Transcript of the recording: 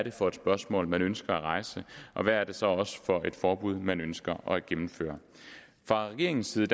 er for et spørgsmål man ønsker at rejse og hvad det så også er for et forbud man ønsker at gennemføre fra regeringens side